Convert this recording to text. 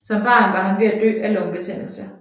Som barn var han ved at dø af lungebetændelse